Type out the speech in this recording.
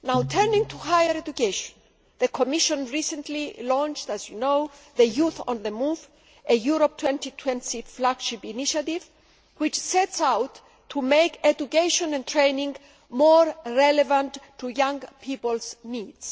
Turning to higher education, the Commission recently launched, as you know, Youth on the Move a Europe 2020 flagship initiative which sets out to make education and training more relevant to young people's needs.